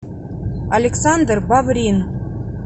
александр баврин